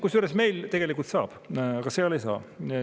Kusjuures meil tegelikult saab, aga seal ei saa.